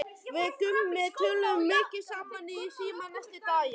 Við Gummi töluðum mikið saman í síma næstu daga.